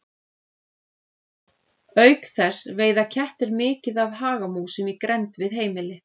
Auk þess veiða kettir mikið af hagamúsum í grennd við heimili.